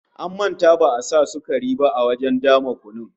An manta ba'a sa sukari ba a wajen dama kunun